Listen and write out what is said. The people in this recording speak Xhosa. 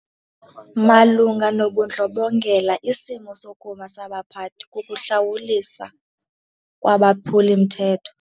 Malunga nobundlobongela isimo sokuma sabaphathi kukuhlawuliswa kwabaphuli-mthetho.